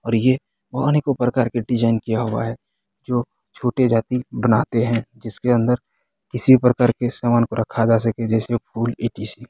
और ये अनेकों प्रकार के डिजाइन किया हुआ है जो छोटे जाति बनाते है जिसके अंदर किसी भी प्रकार के सामान को रखा जा सके जैसे फूल ई.टी.सी. ।